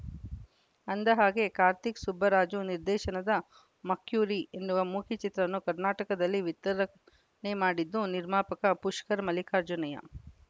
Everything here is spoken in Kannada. ಅಂದಹಾಗೆ ಕಾರ್ತಿಕ್‌ ಸುಬ್ಬರಾಜು ನಿರ್ದೇಶನದ ಮಕ್ಯುರಿ ಎನ್ನುವ ಮೂಕಿ ಚಿತ್ರವನ್ನು ಕರ್ನಾಟಕದಲ್ಲಿ ವಿತರಣೆ ಮಾಡಿದ್ದು ನಿರ್ಮಾಪಕ ಪುಷ್ಕರ್‌ ಮಲ್ಲಿಕಾರ್ಜುನಯ್ಯ